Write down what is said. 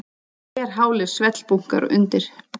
Glerhálir svellbunkar undir.